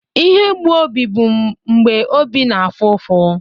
Ihe mgbu obi bụ mgbe obi na-afụ ụfụ.